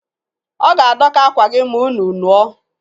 Ọ ga-adọka akwa gị ma unu nuo